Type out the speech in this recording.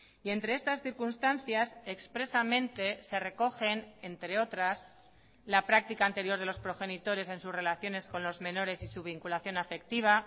y entre estas circunstancias expresamente se recogen entre otras la práctica anterior de los progenitores en sus relaciones con los menores y su vinculación afectiva